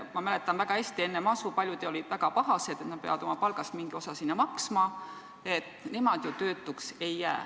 Ma mäletan väga hästi, kuidas enne masu olid paljud väga pahased, et nad peavad oma palgast mingi osa sinna maksma – nemad ju töötuks ei jää.